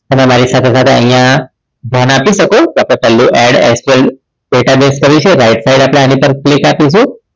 એમાં મારી સાથે સાથે અહીંયા ધ્યાન આપી શકો તો આપને add sql database કરી છે right side આની ઉપર click આપીશું